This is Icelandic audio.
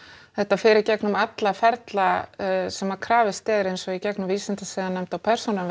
þetta fer í gegnum alla ferla sem að krafist er eins og í gegnum Vísindasiðanefnd og persónuvernd